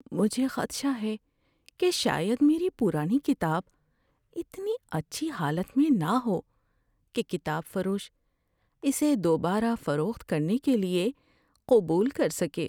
‏مجھے خدشہ ہے کہ شاید میری پرانی کتاب اتنی اچھی حالت میں نہ ہو کہ کتاب فروش اسے دوبارہ فروخت کے لیے قبول کر سکے۔